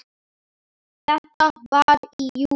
Þetta var í júlí.